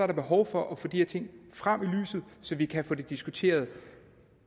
der behov for at få de her ting frem i lyset så vi kan få det diskuteret